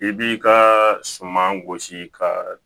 I b'i ka suman gosi ka